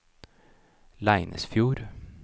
Leinesfjord